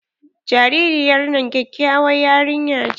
Jaririyar nan kyakyawar yarinya ce.